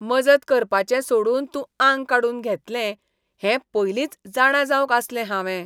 मजत करपाचें सोडून तूं आंग काडून घेतलें हें पयलींच जाणा जावंक आसलें हावें.